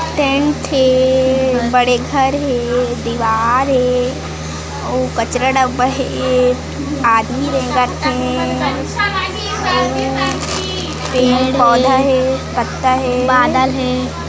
Tent हे बड़े घर हे दीवार हे अऊ कचरा डब्बा हे आदमी रेंगत हे अउ पेड़ हे पौधा हे पत्ता हे बादल हे।